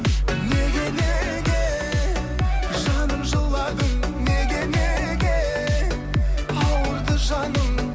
неге неге жаным жыладың неге неге ауырды жаның